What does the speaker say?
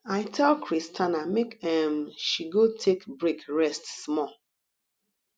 i tell christiana make um she go take break rest small